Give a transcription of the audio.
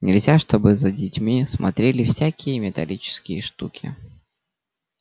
нельзя чтобы за детьми смотрели всякие металлические штуки